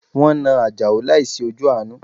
Wọn na ajao láìsí ojú àánú